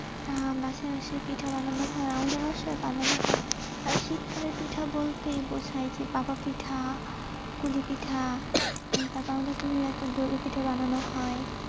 আহ বাসায় বাসায় পিঠা বানানো হয়, আমাদের বাসায় ও বানানো হয় শীতকালে পিঠা বলতেই বোঝায় ভাপা পিঠা পুলি পিঠা, তারপর আমাদের পিঠা বানানো হয়.